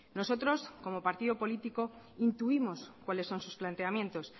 nosotros como partido político intuimos cuáles son sus planteamientos